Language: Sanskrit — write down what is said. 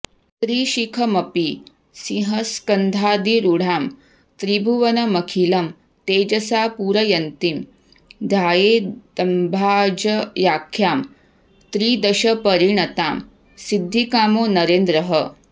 त्रिशिखमपि सिंहस्कन्धाधिरूढां त्रिभुवनमखिलं तेजसा पूरयन्तीं ध्यायेदम्बाजयाख्यां त्रिदशपरिणतां सिद्धिकामो नरेन्द्रः